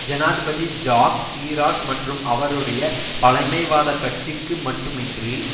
ஜனாதிபதி Jacques Chirac மற்றும் அவருடைய பழமைவாத கட்சிக்கு மட்டுமின்றி